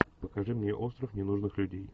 покажи мне остров ненужных людей